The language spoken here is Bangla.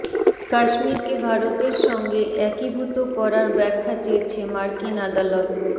কাশ্মীরকে ভারতের সঙ্গে একীভূত করার ব্যাখ্যা চেয়েছে মার্কিন আদালত